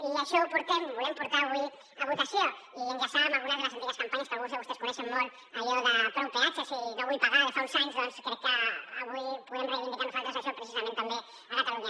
i això ho portem ho volem portar avui a votació i enllaçar ho amb algunes de les antigues campanyes que alguns de vostès coneixen molt allò de prou peatges i no vull pagar de fa uns anys perquè crec que avui podem reivindicar nosaltres això precisament també a catalunya